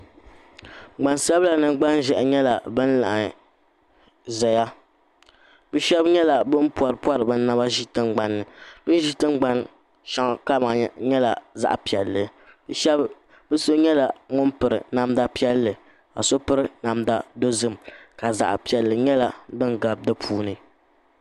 Gbaŋ sabila ni gbaŋ ʒɛhi nyɛla bini laiɣim zɛya bi shɛba nyɛla bini pɔripɔri bi naba zi tiŋa bini zi tiŋgbani shɛli maa kama nyɛla zaɣi piɛlli ni so nyɛla ŋuni piri namda piɛli ka so piri namda dozim ka zaɣi piɛli nyɛla dini gabi di puuni.